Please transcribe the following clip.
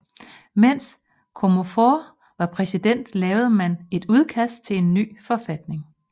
Mens Comonfort var præsident lavede man et udkast til en ny forfatning